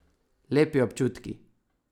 Lepi občutki.